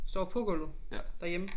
Står på gulvet derhjemme